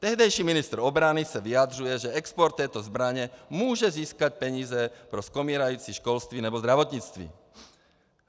Tehdejší ministr obrany se vyjadřuje, že export této zbraně může získat peníze pro skomírající školství nebo zdravotnictví.